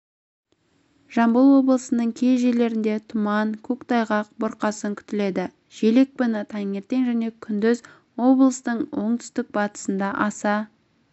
жамбыл облысының кей жерлерінде тұман көктайғақ бұрқасын күтіледі жел екпіні таңертең және күндіз облыстың оңтүстік-батысында аса